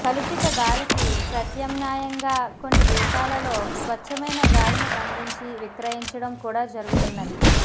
కలుషితగాలికి ప్రత్యామ్నాయంగా కొన్ని దేశాలలో స్వచ్ఛమైన గాలిని బంధించి విక్రయించడం కూడా జరుగుతున్నది